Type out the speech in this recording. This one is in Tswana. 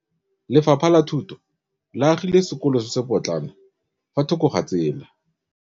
Lefapha la Thuto le agile sekôlô se se pôtlana fa thoko ga tsela.